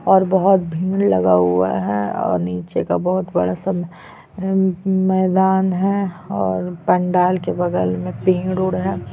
और बहोत भीड़ लगा हुआ है और नीचे का बहोत बड़ा सा मैदान है और पंडाल के बगल में पेड़ वेड है।